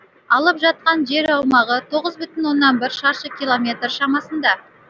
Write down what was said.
алып жатқан жер аумағы шаршы километр шамасында